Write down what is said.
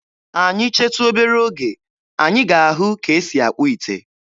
Anyị chetu obere oge, anyị ga-ahụ ka e si akpụ ite.